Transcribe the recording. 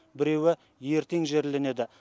біреуі ертең жерленеді